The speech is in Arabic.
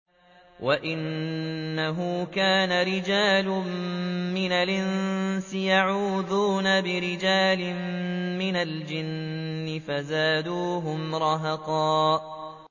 وَأَنَّهُ كَانَ رِجَالٌ مِّنَ الْإِنسِ يَعُوذُونَ بِرِجَالٍ مِّنَ الْجِنِّ فَزَادُوهُمْ رَهَقًا